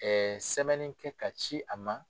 sɛbɛnni kɛ ka ci a ma.